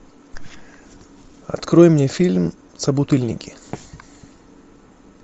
открой мне фильм собутыльники